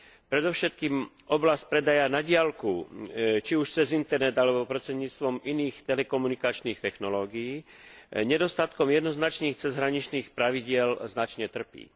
Predovšetkým oblasť predaja na diaľku, či už cez internet, alebo prostredníctvom iných telekomunikačných technológií, nedostatkom jednoznačných cezhraničných pravidiel značne trpí.